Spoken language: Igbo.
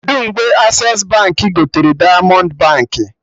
Kedụ mgbe Accessi Baankị gotere Diamond Baankị?